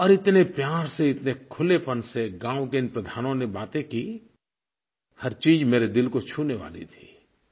और इतने प्यार से इतने खुलेपन से गाँव के इन प्रधानों ने बातें की हर चीज़ मेरे दिल को छूने वाली थी